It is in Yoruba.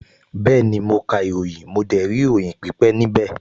Bẹ́ẹ̀ni, mo ka ìròyìn, mo dẹ̀ rí ìròyìn pípẹ́ níbẹ̀